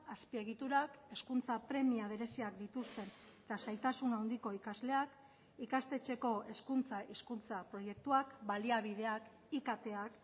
azpiegiturak hezkuntza premia bereziak dituzten eta zailtasun handiko ikasleak ikastetxeko hezkuntza hizkuntza proiektuak baliabideak iktak